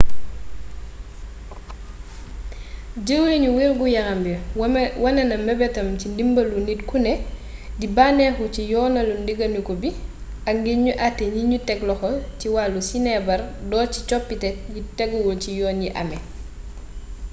jeewrinu wérgu yaram bi wane na meebeetam ci ndimbeelu nit kuné di bannéxu ci yoonalu ndéganiku bii ak ngir gnu atté gnignu ték loxo ci wallu-sinéébar door ci coppité yi téguwul ci yoon yi amé